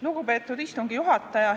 Lugupeetud istungi juhataja!